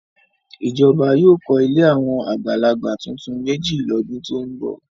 Ìjọba yóò kọ́ ilé àwọn àgbàlagbà tuntun méjì lọ́dún tó ń bọ̀.